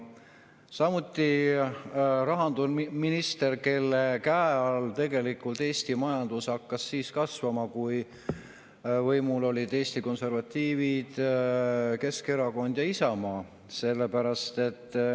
rahandusminister, kelle käe all tegelikult Eesti majandus hakkas kasvama, kui võimul olid Eesti konservatiivid, Keskerakond ja Isamaa.